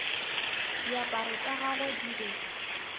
diaparo tša gagwe di be